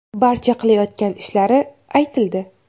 Barcha qilayotgan ishlari aytildi.